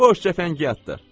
Boş cəfəngiyatdır.